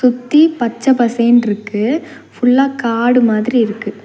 சுத்தி பச்ச பசேன்ருக்கு ஃபுல்லா காடு மாதிரி இருக்கு.